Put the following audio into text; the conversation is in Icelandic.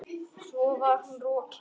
Svo var hún rokin.